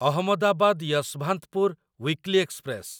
Ahmedabad Yesvantpur weekly express